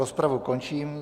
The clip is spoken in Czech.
Rozpravu končím.